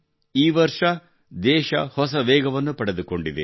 ಈ ವರ್ಷ ದೇಶ ಹೊಸ ವೇಗವನ್ನು ಪಡೆದುಕೊಂಡಿದೆ